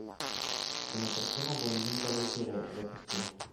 кинокартина блондинка в эфире запусти